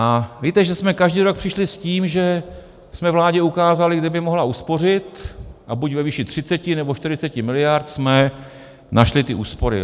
A víte, že jsme každý rok přišli s tím, že jsme vládě ukázali, kde by mohla uspořit, a buď ve výši 30, nebo 40 mld. jsme našli ty úspory.